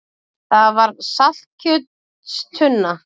Það var saltkjötstunna.